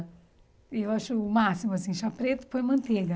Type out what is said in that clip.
E eu acho o máximo, assim, chá preto, pão e manteiga.